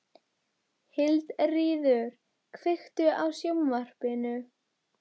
Hildiríður, kveiktu á sjónvarpinu.